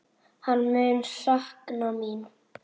Hann mun sakna mín.